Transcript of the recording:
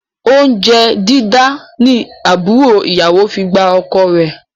Oúnjẹ dídá ni àbúrò ìyàwó fi gba ọkọ rẹ